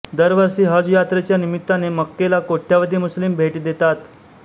दरवर्षी हज यात्रेच्या निमित्ताने मक्केला कोट्यावधी मुस्लिम भेट देतात